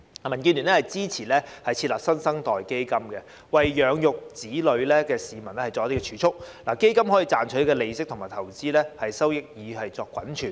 民建聯支持設立"新生代基金"，協助需要養育子女的市民作儲蓄，亦可賺取利息及投資收益作滾存。